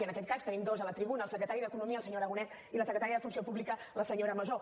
i en aquest cas en tenim dos a la tribuna el secretari d’economia el senyor aragonès i la secretària de funció pública la senyora masó